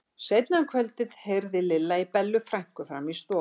Seinna um kvöldið heyrði Lilla í Bellu frænku frammi í stofu.